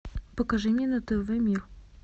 покажи мне на тв мир